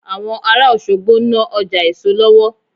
Àwọn ará Òṣogbo ń ná Ọjà èso lọ́wọ́